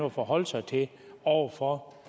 at forholde sig til over for